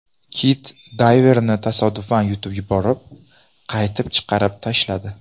Kit dayverni tasodifan yutib yuborib, qaytib chiqarib tashladi .